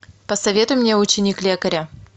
посоветуй мне ученик лекаря